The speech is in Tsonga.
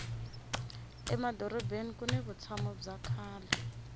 emadorobeni kuni vutshamo bya kahle